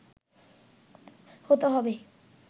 হতে হবে